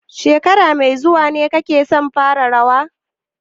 Shekara mai zuwa ne kake son fara rawa?